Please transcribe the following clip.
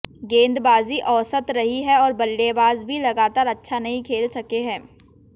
गेंदबाजी औसत रही है और बल्लेबाज भी लगातार अच्छा नहीं खेल सके हैं